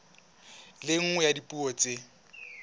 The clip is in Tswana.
le nngwe ya dipuo tsa